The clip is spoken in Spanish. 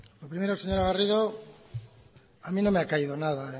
lo primero señora garrido a mí no me ha caído nada